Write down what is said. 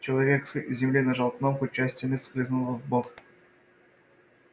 человек с земли нажал кнопку и часть стены скользнула вбок